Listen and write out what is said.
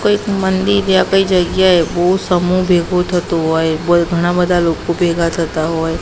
કોઈક મંદિર યા કોઈ જગ્યાએ બોવ સમૂહ ભેગો થતો હોય વોઈ ઘણા બધા લોકો ભેગા થતા હોય.